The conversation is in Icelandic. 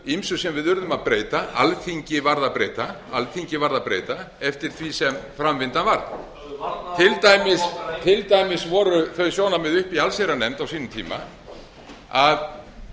ýmsu sem við urðum að breyta alþingi varð að breyta eftir því sem framvindan varð höfðu varnaðarorð til dæmis voru þau sjónarmið uppi í allsherjarnefnd á sínum tíma að